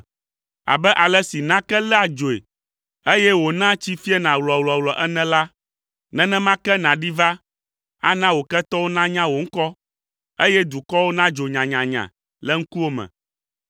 Abe ale si nake léa dzoe, eye wònaa tsi fiena wlɔwlɔwlɔ ene la, nenema ke nàɖi va, ana wò ketɔwo nanya wò ŋkɔ, eye dukɔwo nadzo nyanyanya le ŋkuwò me,